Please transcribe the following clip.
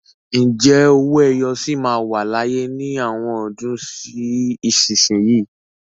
Ǹjẹ́ owó ẹyọ sì máa wà láyé ní àwọn ọdún sí ìsinsìnyí?